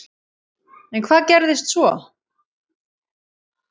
En hvað gerðist svo?